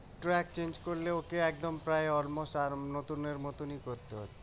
করলে ওকে একদম প্রায় আর নতুনের মতনই করতে হবে